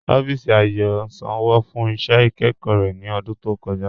Ọffísì Ayò sànwo fún iṣẹ́ ikẹ́kọ̀ rẹ̀ ní ọ̀dún tó kọ̀ja.